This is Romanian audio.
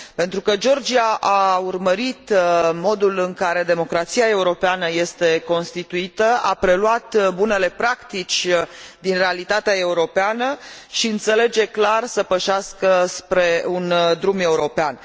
Pentru că Georgia a urmărit modul în care democrația europeană este constituită, a preluat bunele practici din realitatea europeană și înțelege clar să pășească spre un drum european.